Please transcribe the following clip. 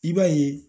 I b'a ye